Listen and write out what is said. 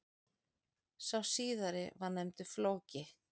Sá síðari var nefndur Flóki.